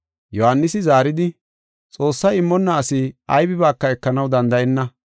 Yohaanisi zaaridi, “Xoossay immonna asi aybibaaka ekanaw danda7enna.